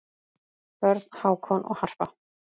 Börn: Hákon og Harpa.